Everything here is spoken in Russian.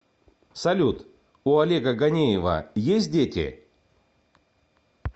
салют у олега ганеева есть дети